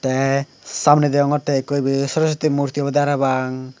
te samne degongoty ekko ebe sorosuti murti obodey parapang.